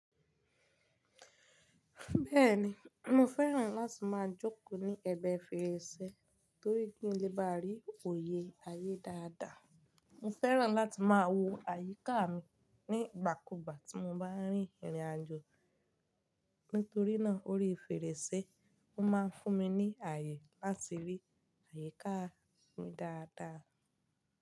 Bẹ́ẹ̀ni, mo fẹ́ràn láti máa jókòó ní ẹ̀gbẹ́ fèrèsé torí pé ó lè bá rí òye ayé dáadáa. Mo fẹ́ràn láti máa wo àyíká mi nígbàkúgbà tí mo bá rí ìrìnàjò. Nítorí náà orí fèrèsé ó máa ń fún mi ní àyè láti rí àyíká mi dáadáa.